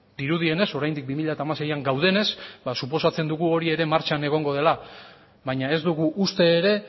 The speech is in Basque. dirudienez oraindik bi mila hamaseian gaudenez ba suposatzen dugu hori ere martxan egongo dela baina ez dugu uste ere